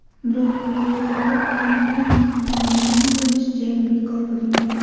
Biroq Bleydsda koronavirus aniqlangani bois jang bekor qilingan.